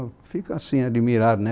ficam assim, admirados, né?